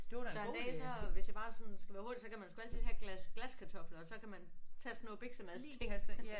Så en dag så hvis jeg bare sådan skal være hurtig så kan man sgu altid tage et glas glaskartofler og så kan man tage sådan noget biksemadsting